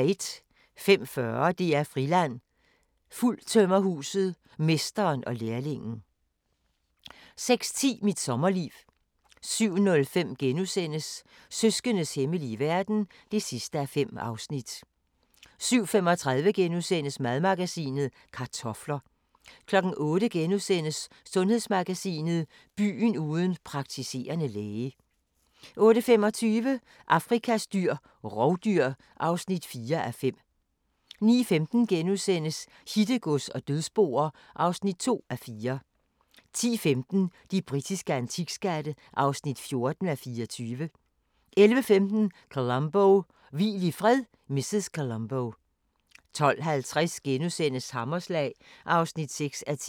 05:40: DR-Friland: Fuldtømmerhuset – mesteren og lærlingen 06:10: Mit sommerliv 07:05: Søskendes hemmelige verden (5:5)* 07:35: Madmagasinet: Kartofler * 08:00: Sundhedsmagasinet: Byen uden praktiserende læge * 08:25: Afrikas dyr – rovdyr (4:5) 09:15: Hittegods og dødsboer (2:4)* 10:15: De britiske antikskatte (14:24) 11:15: Columbo: Hvil i fred, mrs. Columbo 12:50: Hammerslag (6:10)*